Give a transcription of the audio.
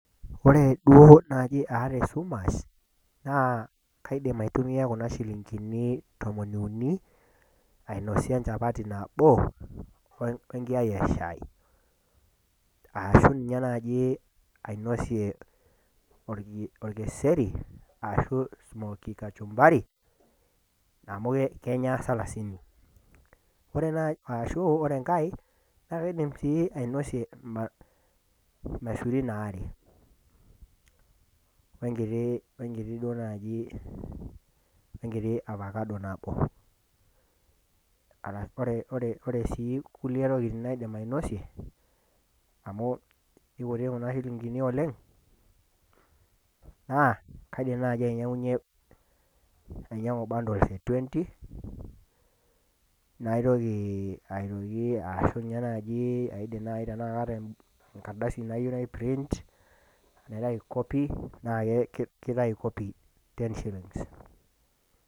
ore duo naaji aata esumash naa kaidim aitumia kuna shilinkini tomon iuni, aiosie enchapati nabo we nkiayai eshaai, ashu ninye naaji ainosie olkeseri ashu smookie kachmbari amu keenya salasini. ashu ore enkae na kaidim sii ainosie ilmasurin aare we nkiti duoo naaji we nkiti avacado nabo arashu ore sii kulie tokitin naidim ainosie, amu kikutik kunashilinkini oleng, na kaidim naaji ainyiang'unye ainyiang'y bundles e twenty naitoki aitoki asu ninye naaji tenaidim naa kaata enkardasi nayieu nai print naitayu copy naa kitayu copy ten shillings